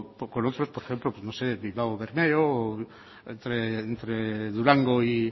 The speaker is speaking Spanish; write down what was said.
con otros por ejemplo como suele bilbao bermeo o entre durango y